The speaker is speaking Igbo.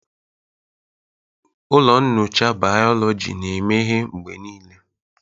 Ụlọ nyocha bayoloji na-emeghe mgbe niile.